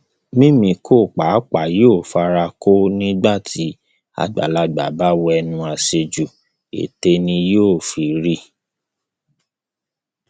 mímíkọ pàápàá yóò fara kọ ọ nígbà tí àgbàlagbà bá wewu àṣejù ètè ni yóò fi rí